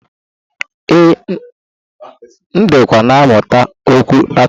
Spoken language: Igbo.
Ee, M dịkwa na-amụta okwu Latin.